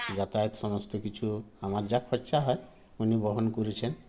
যাতায়াত সমস্ত কিছু আমার যা খরচা হয় উনি বহন করেছেন